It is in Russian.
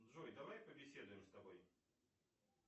джой давай побеседуем с тобой